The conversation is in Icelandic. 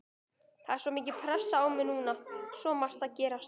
Það er svo mikil pressa á mér núna, svo margt að gerast.